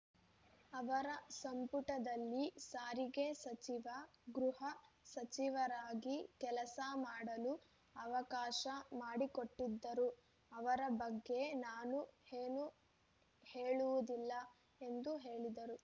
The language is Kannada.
ಅವರ ಸಂಪುಟದಲ್ಲಿ ಸಾರಿಗೆ ಸಚಿವ ಗೃಹ ಸಚಿವರಾಗಿ ಕೆಲಸ ಮಾಡಲು ಅವಕಾಶ ಮಾಡಿಕೊಟ್ಟಿದ್ದರು ಅವರ ಬಗ್ಗೆ ನಾನು ಏನೂ ಹೇಳುವುದಿಲ್ಲ ಎಂದು ಹೇಳಿದರು